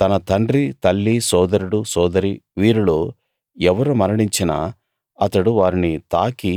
తన తండ్రి తల్లి సోదరుడు సోదరి వీరిలో ఎవరు మరణించినా అతడు వారిని తాకి